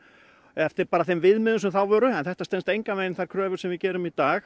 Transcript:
eftir bara þeim viðmiðum sem þá voru en þetta stenst engan vegin þær kröfur sem við gerum í dag